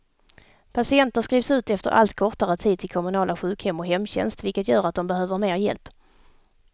Patienter skrivs ut efter allt kortare tid till kommunala sjukhem och hemtjänst, vilket gör att de behöver mer hjälp.